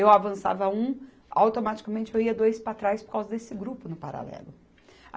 Eu avançava um, automaticamente eu ia dois para trás por causa desse grupo no paralelo.